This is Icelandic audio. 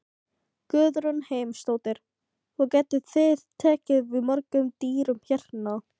Guðrún Heimisdóttir: Hvað getið þið tekið við mörgum dýrum hérna?